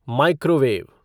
microwave